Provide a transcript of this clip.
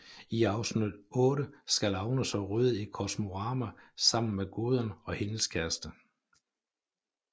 I afsnit otte skal Agnes og Røde i Kosmorama sammen med Gudrun og hendes kæreste